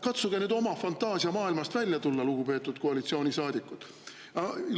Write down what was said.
Katsuge oma fantaasiamaailmast välja tulla, lugupeetud koalitsioonisaadikud!